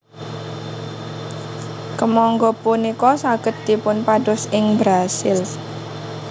Kemangga punika saged dipunpados ing Brasil